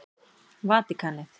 Vatíkanið